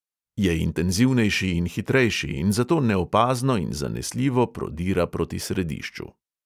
Je intenzivnejši in hitrejši in zato neopazno in zanesljivo prodira proti središču.